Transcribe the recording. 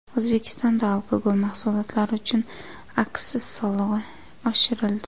O‘zbekistonda alkogol mahsulotlari uchun aksiz solig‘i oshirildi.